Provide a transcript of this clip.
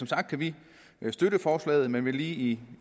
sagt kan vi støtte forslaget men vil lige